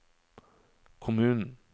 kommunen